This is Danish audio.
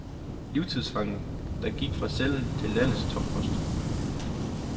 Livstidsfangen, der gik fra cellen til landets toppost.